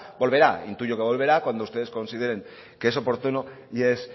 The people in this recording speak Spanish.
volverá intuyo que volverá cuando ustedes consideren que es oportuno y es